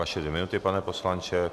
Vaše dvě minuty, pane poslanče.